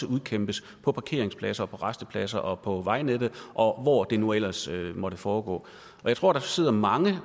udkæmpes på parkeringspladser rastepladser og på vejnettet og hvor det nu ellers måtte foregå og jeg tror der sidder mange